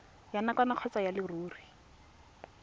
ya nakwana kgotsa ya leruri